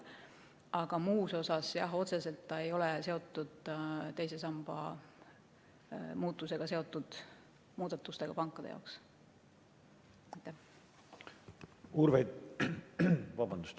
Aga muus osas, jah, ei ole pankade jaoks otseselt seotud teise samba muudatusega.